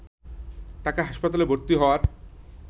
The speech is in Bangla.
তাকে হাসপাতালে ভর্তি হওয়ার